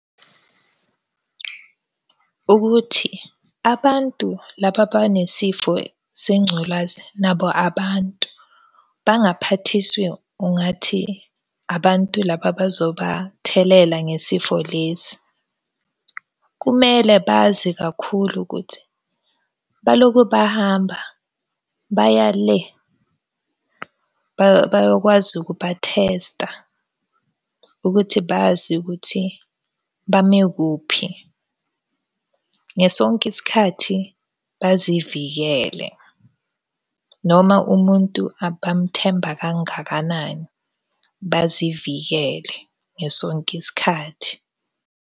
Ukuthi abantu laba abanesifo sengculazi nabo abantu. Bangaphathiswa ungathi abantu laba abazobathelela ngesifo lesi. Kumele bazi kakhulu ukuthi balokhu bahamba baya le, bayokwazi ukubathesta ukuthi bazi ukuthi bamekuphi. Ngaso sonke isikhathi bazivikele. Noma umuntu abamuthemba kangakanani, bazivikele ngaso sonke isikhathi.